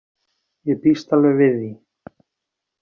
Ég býst alveg við því.